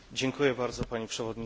Pani Przewodnicząca!